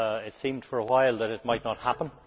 It seemed for a while that it might not happen.